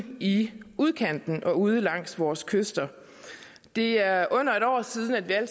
i udkanten og ude langs vores kyster det er under en år siden at vi alle